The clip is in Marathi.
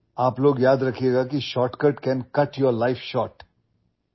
तुम्ही सर्वांनी हे नेहमी लक्षात ठेवा की शॉर्टकट तुमचे आयुष्य कमी करू शकतात